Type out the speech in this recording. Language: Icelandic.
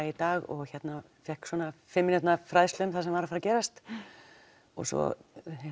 í dag og fékk fimm mínútna fræðslu um það sem var að fara að gerast og svo